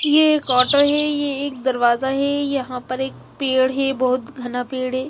ये एक ऑटो है ये एक दरवाजा है यहाँ पर एक पेड़ है ये बोहोत घना पेड़ है।